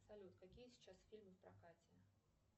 салют какие сейчас фильмы в прокате